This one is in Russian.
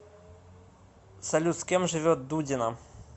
салют с кем живет дудина